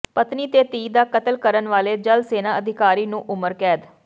ਪਤਨੀ ਤੇ ਧੀ ਦਾ ਕਤਲ ਕਰਨ ਵਾਲੇ ਜਲ ਸੈਨਾ ਅਧਿਕਾਰੀ ਨੂੰ ਉਮਰ ਕੈਦ